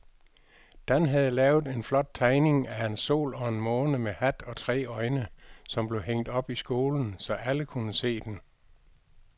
Dan havde lavet en flot tegning af en sol og en måne med hat og tre øjne, som blev hængt op i skolen, så alle kunne se den.